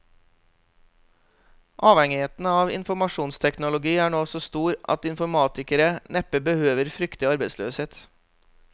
Avhengigheten av informasjonsteknologi er nå så stor at informatikere neppe behøver frykte arbeidsløshet.